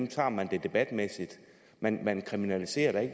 tager man debatmæssigt man kriminaliserer da